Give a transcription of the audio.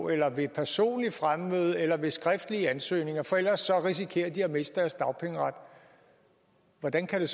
eller ved personligt fremmøde eller ved skriftlige ansøgninger for ellers risikerer de at miste deres dagpengeret hvordan kan det